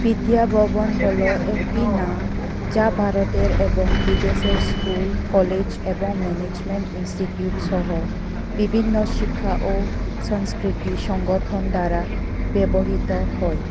বিদ্যিয়া ভবন হল একটি নাম যা ভারতের এবং বিদেশের স্কুল কলেজ এবং ম্যানেজমেন্ট ইনস্টিটিউট সহ বিভিন্ন শিক্ষা ও সংস্কৃতি সংগঠন দ্বারা ব্যবহৃত হয়।